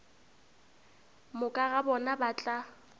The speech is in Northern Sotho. moka ga bona ba tla